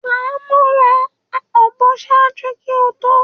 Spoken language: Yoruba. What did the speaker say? Famọra a ọbọ ṣaaju ki o to,?